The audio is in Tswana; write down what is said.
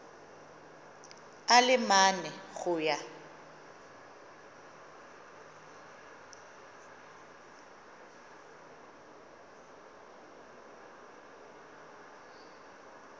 a le mane go ya